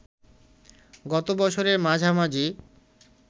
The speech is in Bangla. গত বছরের মাঝামাঝি